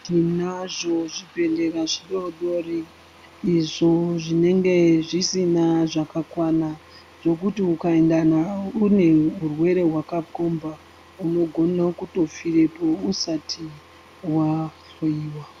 Tinazvo zvibhedhlera zvidoodori izvo zvinenge zvisina zvakakwana zvekuti ukaenda unehurwere hwakakomba unogone kutofirepo usati wahloiwa.